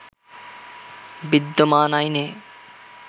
বিদ্যমান আইনে